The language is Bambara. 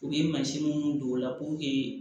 U ye mansin minnu don o la puruke